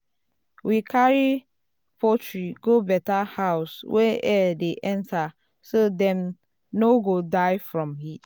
um we carry poultry go better house wey air dey enter um so dem no um go die from heat.